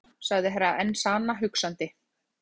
Þetta gæti verið Grýla, sagði Herra Enzana hugsandi.